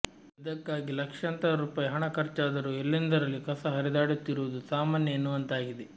ಇದಕ್ಕಾಗಿ ಲಕ್ಷಾಂತರ ರೂಪಾಯಿ ಹಣ ಖರ್ಚಾದರೂ ಎಲ್ಲೆಂದರಲ್ಲಿ ಕಸ ಹರಿದಾಡುತ್ತಿರುವುದು ಸಾಮಾನ್ಯ ಎನ್ನುವಂತಾಗಿದೆ